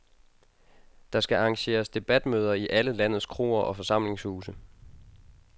Der skal arrangeres debatmøder i alle landets kroer og forsamlingshuse.